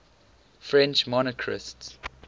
french monarchists